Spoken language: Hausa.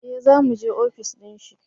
eh za mu je ofis dinshi